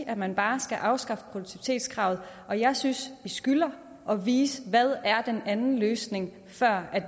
at man bare skal afskaffe produktivitetskravet og jeg synes vi skylder at vise hvad den anden løsning er før